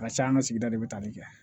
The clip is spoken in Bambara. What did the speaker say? A ka ca an ka sigida de bɛ tali kɛ